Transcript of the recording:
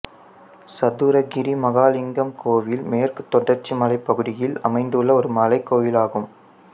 சதுரகிரி மகாலிங்கம் கோவில் மேற்குத் தொடர்ச்சி மலைப் பகுதியில் அமைந்துள்ள ஒரு மலைக்கோயிலாகும்